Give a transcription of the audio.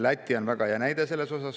Läti on väga hea näide selle kohta.